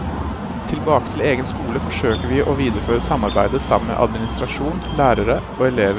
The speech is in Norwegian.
Tilbake til egen skole forsøker vi å videreføre samarbeidet sammen med administrasjon, lærere og elever.